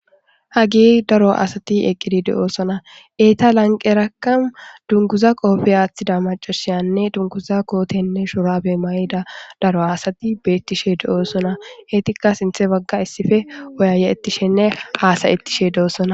hagi daro asati eqqidi de7oosona eeta lanqeraka dunkuza qoobe aaththida macasayanne dunkuza kootenne shorabe mayida daro asati beettishe de7oosona heetikka sinthe bagga issife oyaye ettishenne haasayettishe de7osona